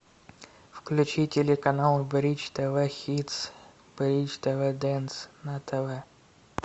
включи телеканал бридж тв хитс бридж тв дэнс на тв